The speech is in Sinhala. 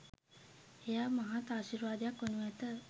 එය මහත් ආශිර්වාදයක් වනු ඇත.